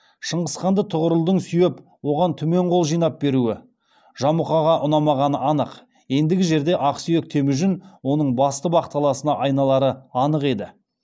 шыңғысханды тұғырылдың сүйеп оған түмен қол жинап беруі жамұқаға ұнамағаны анық ендігі жерде ақсүйек темужін оның басты бақталасына айналары анық еді